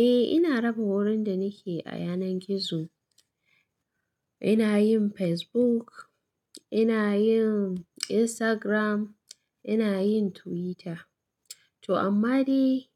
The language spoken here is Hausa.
Eh, ina raba wurin da nake a yanar gizo. Ina yin Facebook, ina yin Instagram, ina yin Twitter. To amma dai